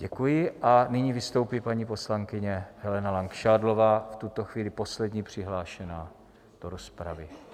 Děkuji a nyní vystoupí paní poslankyně Helena Langšádlová, v tuto chvíli poslední přihlášená do rozpravy.